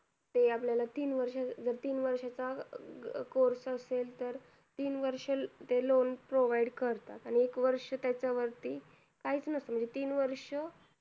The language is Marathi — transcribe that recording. ते आपल्याला तीन वर्ष जर तीन वर्षाचा अं course असेल तर तीन वर्ष ते loan provide करतात. आणि एक वर्ष त्याच्यावरती काही नसलं, म्हणजे तीन वर्ष